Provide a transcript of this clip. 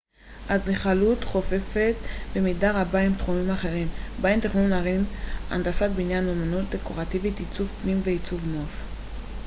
אדריכלות חופפת במידה רבה עם תחומים אחרים בהם תכנון ערים הנדסת בניין אומנות דקורטיבית עיצוב פנים ועיצוב נוף